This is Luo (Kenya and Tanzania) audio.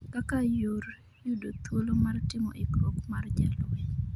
kaka yor yudo thuolo mar timo ikruok ma jalweny